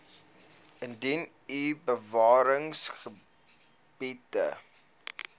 indien u bewaringsgebiede